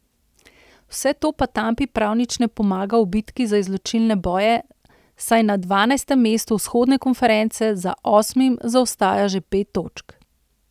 Vse to pa Tampi prav nič ne pomaga v bitki za izločilne boje, saj na dvanajstem mestu vzhodne konference za osmim zaostaja že pet točk.